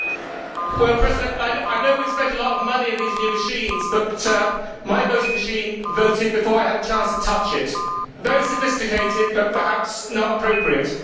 Madam President, I know we have spent a lot of money on these new machines but my voting machine voted before I had a chance to touch it very sophisticated, but perhaps not appropriate.